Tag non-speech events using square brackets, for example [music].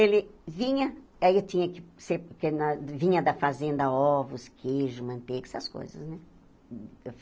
Ele vinha, aí eu tinha que ser... [unintelligible] Vinha da fazenda ovos, queijo, manteiga, essas coisas, né?